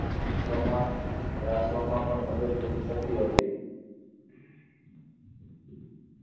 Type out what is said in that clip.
પ્રમાણ રાખવા માં પણ મદદરૂપ થતી હતી.